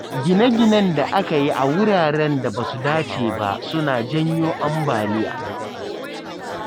Gine-ginen da aka yi a wuraren da ba su dace ba suna janyo ambaliya.